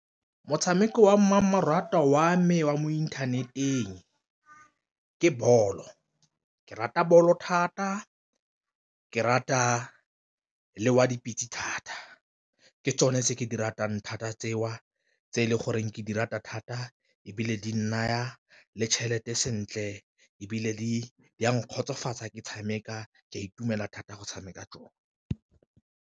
Motshameko wa mmamoratwa wa me wa mo inthaneteng ke bolo, ke rata ball o thata ke rata le wa dipitse thata ke tsone tse ke di ratang thata tseo tse e leng goreng ke di rata thata ebile di naya le tšhelete sentle, ebile di a nkgotsofatsa ke tshameka ka itumela thata go tshameka tsone.